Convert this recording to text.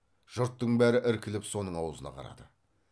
жұрттың бәрі іркіліп соның аузына қарады